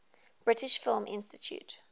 british film institute